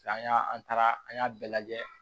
an y'a an taara an y'a bɛɛ lajɛ